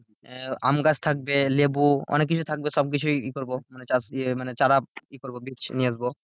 আহ আম গাছ থাকবে লেবু অনেক কিছু থাকবে সবকিছুই ই করবো মানে এই করবো মানে চারা ই করবো বীচ নিয়ে আসবো।